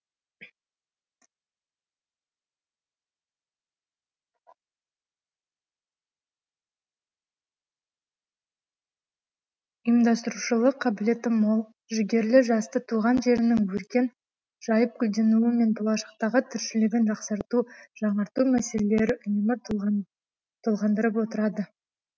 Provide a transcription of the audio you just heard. ұйымдастырушылық қабілеті мол жігерлі жасты туған жерінің өркен жайып гүлденуі мен болашақтағы тіршілігін жақсарту жаңарту мәселелері үнемі толғандырып толғандырып отырады